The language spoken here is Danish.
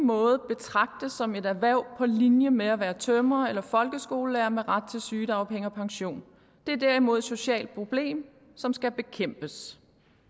måde betragtes som et erhverv på linje med at være tømrer eller folkeskolelærer med ret til sygedagpenge og pension det er derimod et socialt problem som skal bekæmpes